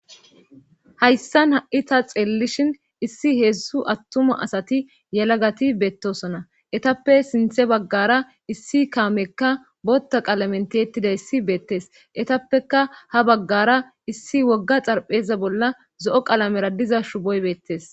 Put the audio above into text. Hayssan ha7i ta xeellishin issi heedzdzu attuma asati yalagati beettosona etappe sinthe baggara issi kaamekka bootta qalamenti ettida issi beettes etappeka ha baggara issi wogga xarpheza bolla zo7o qalamera diza shuboy beettes.